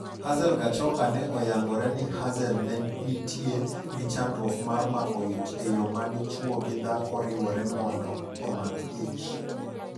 Hazel Gachoka ne oyangore ni Hazel ne nitie gi chandruok mar mako ich e yo madichuo gi dhako riwore mondo omak ich.